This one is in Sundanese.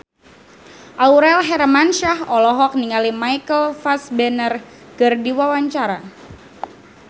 Aurel Hermansyah olohok ningali Michael Fassbender keur diwawancara